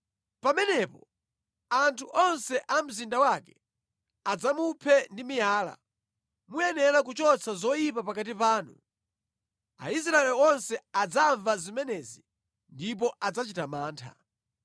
Pamenepo anthu onse a mu mzinda wake adzamuphe ndi miyala. Muyenera kuchotsa zoyipa pakati panu. Aisraeli onse adzamva zimenezi ndipo adzachita mantha.